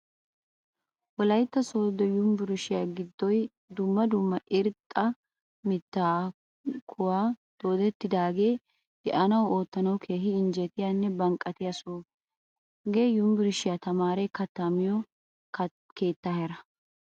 Wolaytta sodo yunvurshshiyaa giddoy dumma dumma irxxa miitta kuwan doodettage deanawu ootanawu keehin injjetiyanne banqqatiya soho. Hage yunvurshshiyaa tamaaretu katta miyo keetta heera.